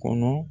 Kɔnɔ